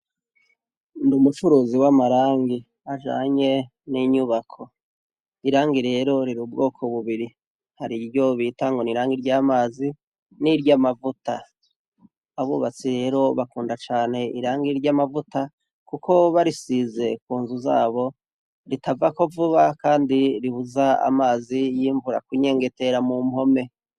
Ndi umucuruzi w'amarangi ajanye n'inyubako. Irangi rero riri ubwoko bubiri : hari iryo bita ngo ni irangi ry'amazi, n'iry'amavuta. Abubatsi rero bakunda cane irangi ry'amavuta kuko barisize ku nzu zabo ritavako vuba, kandi ribuza amazi y'imvura kunyengetera mu mpome.